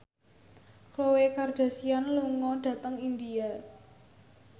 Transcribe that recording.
Khloe Kardashian lunga dhateng India